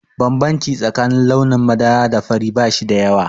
Bambanci tsakanin launin madara da fari ba shi da yawa.